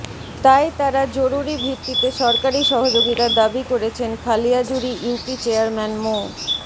তাই তারা জরুরি ভিত্তিতে সরকারি সহযোগিতা দাবি করেছেন খালিয়াজুড়ি ইউপি চেয়ারম্যান মো